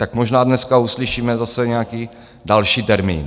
Tak možná dneska uslyšíme zase nějaký další termín.